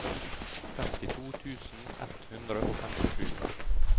femtito tusen ett hundre og femtisju